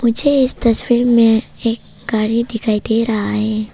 मुझे इस तस्वीर में एक गाड़ी दिखाई दे रहा है।